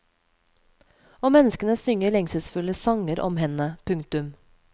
Og menneskene synger lengselsfulle sanger om henne. punktum